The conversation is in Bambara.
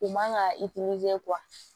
U man ka